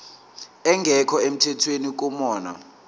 engekho emthethweni kunoma